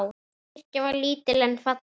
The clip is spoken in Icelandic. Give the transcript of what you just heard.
Kirkjan var lítil en falleg.